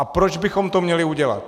A proč bychom to měli udělat?